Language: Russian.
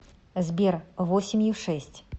сбер восемью шесть